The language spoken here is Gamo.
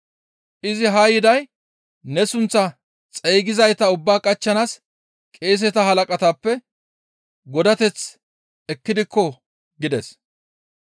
Izi haa yiday ne sunththaa xeygizayta ubbaa qachchanaas qeeseta halaqatappe godateth ekkidikko» gides.